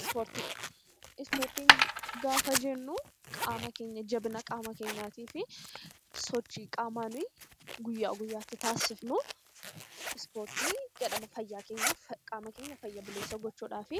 Ispoortii Ispoortii gaafa jennuu qaama keenya, jabina qaama keenyaatiif sochii qaamaa nuyi guyyaa guyyaa tti taasifnu 'Ispoortii' jedhama. Fayyaa keenyaaf, qaama keenya fayya buleessa gochuu dhaaf